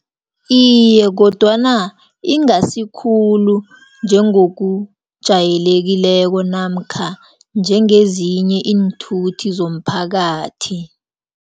Iye, kodwana ingasi khulu, njengokujayelekileko, namkha njengezinye iinthuthi zomphakathi.